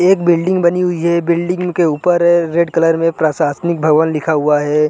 एक ब्लीडिंग बनी हुई है ब्लीडिंग के उपर रेड कलर में प्रसासनिक भवन लिखा हुआ है।